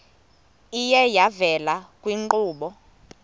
iye yavela kwiinkqubo